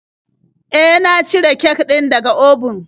E, na cire kek din da ga obun.